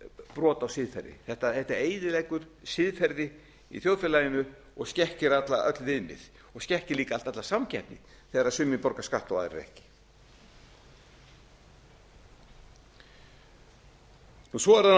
brot á siðferði þetta eyðileggur siðferði í þjóðfélaginu og skekkir öll viðmið og skekkir líka alla samkeppni þegar sumir borga skatt og aðrir ekki svo er